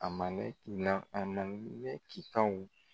A ma ne a ma ne cikanw